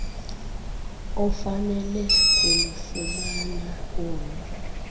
ofanele kulufumana olu